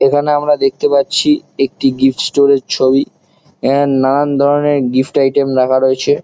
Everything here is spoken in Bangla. এখানে আমরা দেখতে পাচ্ছি একটি গিফট স্টোর -এর ছবি এখানে নানান ধরণের গিফট আইটেম রাখা রয়েছে ।